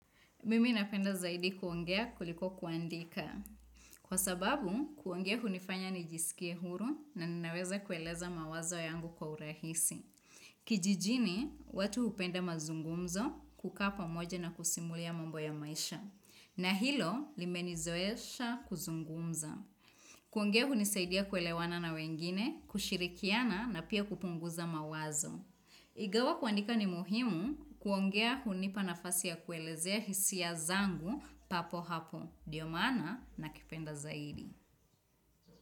Mimi napenda zaidi kuongea kuliko kuandika. Kwa sababu, kuongea hunifanya nijisikie huru na ninaweza kueleza mawazo yangu kwa urahisi. Kijijini, watu hupenda mazungumzo kukaa pamoja na kusimulia mambo ya maisha. Na hilo, limenizoesha kuzungumza. Kuongea hunisaidia kuelewana na wengine, kushirikiana na pia kupunguza mawazo. Ingawa kuandika ni muhimu kuongea hunipa nafasi ya kuelezea hisia zangu papo hapo. Ndio maana nakipenda zaidi.